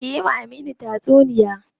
Ka yi wa Aminu tatsuniya.